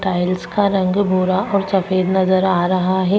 tiles का रंग गोरा और सफ़ेद नज़र आ रहा है दो --